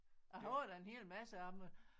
Jeg har da en hel masse af dem